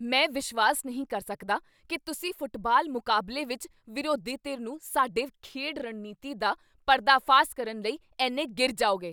ਮੈਂ ਵਿਸ਼ਵਾਸ ਨਹੀਂ ਕਰ ਸਕਦਾ ਕੀ ਤੁਸੀਂ ਫੁੱਟਬਾਲ ਮੁਕਾਬਲੇ ਵਿੱਚ ਵਿਰੋਧੀ ਧਿਰ ਨੂੰ ਸਾਡੀ ਖੇਡ ਰਣਨੀਤੀ ਦਾ ਪਰਦਾਫਾਸ਼ ਕਰਨ ਲਈ ਇੰਨੇ ਨਾਲਾਂ ਗਿਰ ਜਾਓਗੇ।